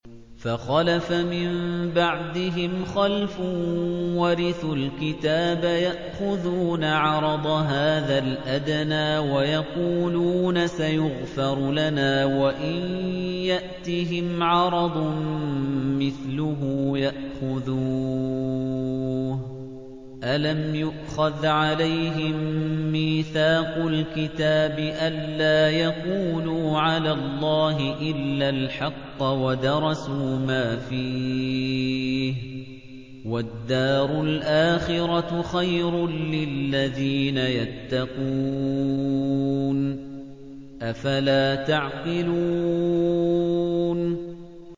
فَخَلَفَ مِن بَعْدِهِمْ خَلْفٌ وَرِثُوا الْكِتَابَ يَأْخُذُونَ عَرَضَ هَٰذَا الْأَدْنَىٰ وَيَقُولُونَ سَيُغْفَرُ لَنَا وَإِن يَأْتِهِمْ عَرَضٌ مِّثْلُهُ يَأْخُذُوهُ ۚ أَلَمْ يُؤْخَذْ عَلَيْهِم مِّيثَاقُ الْكِتَابِ أَن لَّا يَقُولُوا عَلَى اللَّهِ إِلَّا الْحَقَّ وَدَرَسُوا مَا فِيهِ ۗ وَالدَّارُ الْآخِرَةُ خَيْرٌ لِّلَّذِينَ يَتَّقُونَ ۗ أَفَلَا تَعْقِلُونَ